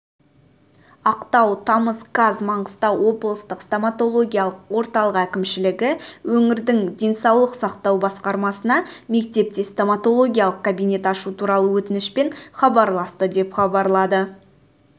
ақтау тамыз қаз маңғыстау облыстық стоматологиялық орталық әкімшілігі өңірдің денсаулық сақтау басқармасына мектепте стоматологияық кабинет ашу туралы өтінішпен хабарласты деп хабарлады